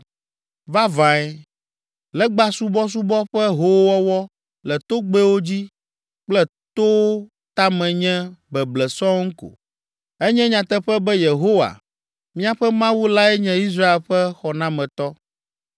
Vavãe, legbasubɔsubɔ ƒe hoowɔwɔ le togbɛwo dzi kple towo tame nye beble sɔŋ ko. Enye nyateƒe be Yehowa, míaƒe Mawu lae nye Israel ƒe xɔnametɔ.